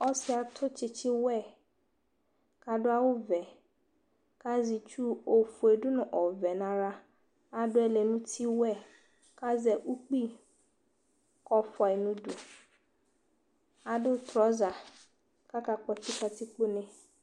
Ɔsiɛ atu tsitsi wɛ kadu awu vɛ kaʒɛ itsuu ofue du nɔvɛ naɣla adu ɛlɛ nuti wɛɛ kaʒɛ ukpi kɔfuayi nuduu Adu trɔʒa kakakpɔtsi katikpo nee